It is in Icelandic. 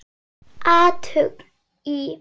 Athugun í